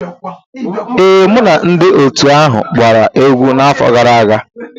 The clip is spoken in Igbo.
Ee, mụ na ndị otu ahụ gbara egwu n'afọ gara aga.